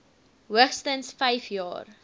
hoogstens vyf jaar